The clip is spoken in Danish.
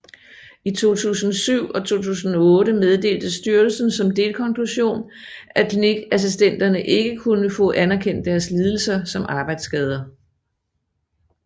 I 2007 og 2008 meddelte styrelsen som delkonklusion at klinikassistenterne ikke kunne få anerkendt deres lidelser som arbejdsskader